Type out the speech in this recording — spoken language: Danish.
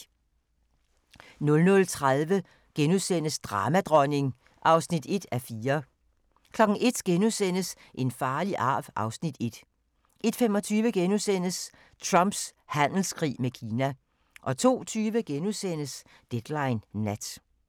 00:30: Dramadronning (1:4)* 01:00: En farlig arv (Afs. 1)* 01:25: Trumps handelskrig med Kina * 02:20: Deadline Nat